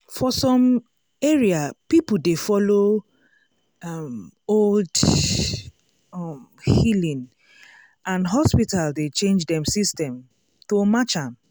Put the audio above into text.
for some area people dey follow um old um healing and hospital dey change dem system to match am.